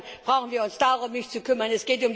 Insofern brauchen wir uns darum nicht zu kümmern.